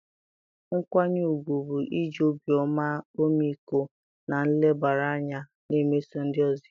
nkwanye ùgwù bụ iji obiọma, ọmịiko, na nlebara anya na-emeso ndị ọzọ ihe.